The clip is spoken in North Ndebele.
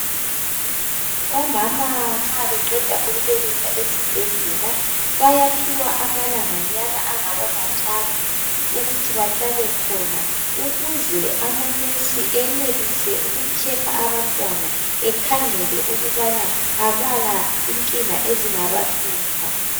Omama nxa beqeda ukubeletha esibhedlela bayaphiwa amalanganyana angaba mathathu ukuthi bahlale khona ukuze amanesi enelise uku checker abantwana bekhangele ukubana abala inkinga ezingabahlupha.